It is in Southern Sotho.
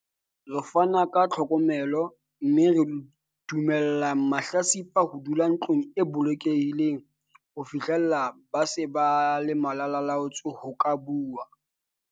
"Re fana ka tlhokomelo mme re dumella mahlatsipa ho dula ntlong e bolokehileng ho fihlela ha ba se ba le malala-a-laotswe ho ka bua."